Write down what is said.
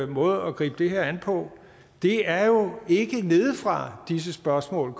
måde at gribe det her an på det er jo ikke nedefra disse spørgsmål